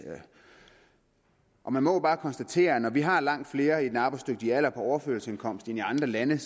og man må bare konstatere at når vi har langt flere i den arbejdsdygtige alder på overførselsindkomst end i andre lande